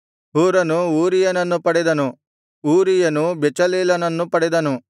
ಹೂರನು ಊರಿಯನನ್ನು ಪಡೆದನು ಊರಿಯನು ಬೆಚಲೇಲನನ್ನು ಪಡೆದನು